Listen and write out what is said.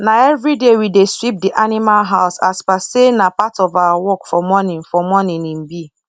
na everyday we dey sweep the animal house as per say na part of our work for morning for morning e be